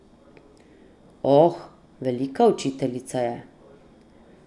Oh, velika učiteljica je.